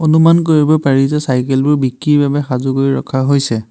অনুমান কৰিব পাৰি যে চাইকেলবোৰ বিক্ৰীৰ বাবে সাজু কৰি ৰখা হৈছে।